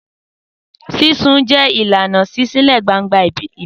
Sísun jẹ́ ìlànà ìṣísílẹ̀-gbangba ìbílẹ̀.